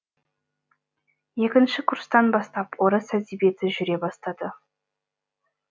екінші курстан бастап орыс әдебиеті жүре бастады